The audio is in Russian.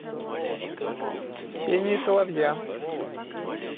пение соловья